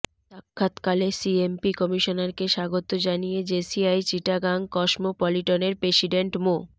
সাক্ষাৎ কালে সিএমপি কমিশনারকে স্বাগত জানিয়ে জেসিআই চিটাগাং কসমোপলিটনের প্রেসিডেন্ট মো